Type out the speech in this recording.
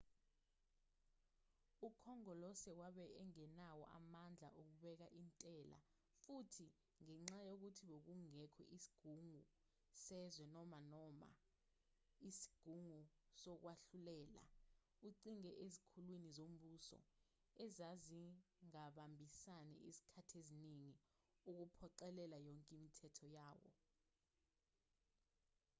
ukhongolose wabe engenawo amandla okubeka intela futhi ngenxa yokuthi bokungekho sigungu sezwe noma noma isigungu sokwahlulela uncike ezikhulwini zombuso ezazingabambisani izikhathi ezingi ukuphoqelela yonke imithetho yawo